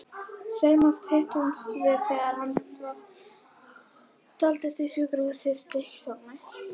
Seinast hittumst við þegar hann dvaldist á sjúkrahúsinu í Stykkishólmi.